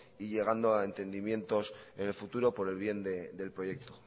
y llegando a entendimientos en el futuro por el bien del proyecto